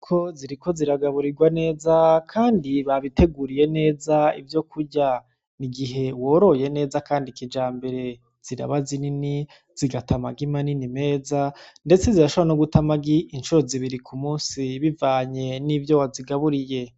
Inkoko ziriko ziragaburirwa neza kandi babiteguriye neza ivyokurya. Igihe woroye neza kandi kijambere, ziraba zinini, zigata amagi manini meza, ndetse zirashobora no guta amagi incuro zibiri ku munsi, bivanye n'ivyo wazigaburiye.